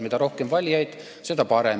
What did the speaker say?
Mida rohkem valijaid, seda parem.